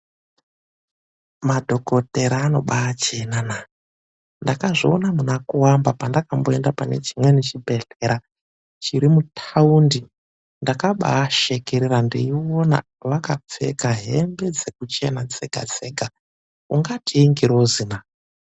MADHOKOTEYA ANOBAACHENA NAA! NDAKAZVIONA MUNAKUVAMBA PANDAKAENDA PANE CHIMWENI CHIBHEDHLERA CHIRI MUTAUNDI. NDAKABAASEKERERA PANDAKAONA AKAPFEKA HEMBE DZEKUCHENA DZEGA DZEGA UNGATI INGIROZI NAA!